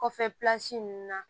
Kɔfɛ ninnu na